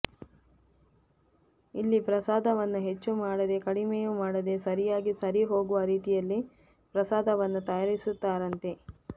ಇಲ್ಲಿ ಪ್ರಸಾದವನ್ನು ಹೆಚ್ಚು ಮಾಡದೆ ಕಡಿಮೆಯೂ ಮಾಡದೆ ಸರಿಯಾಗಿ ಸರಿ ಹೋಗುವ ರೀತಿಯಲ್ಲಿ ಪ್ರಸಾದವನ್ನು ತಯಾರಿಸುತ್ತಾರಂತೆ